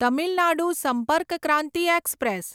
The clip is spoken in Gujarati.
તમિલ નાડુ સંપર્ક ક્રાંતિ એક્સપ્રેસ